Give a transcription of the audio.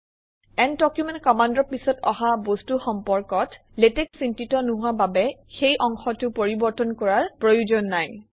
and document কমাণ্ডৰ পিছত অহা বস্তু সম্পৰ্কত লেটেক্স চিন্তিত নোহোৱা বাবে সেই অংশটো পৰিৱৰ্তন কৰাৰ প্ৰয়োজন নাই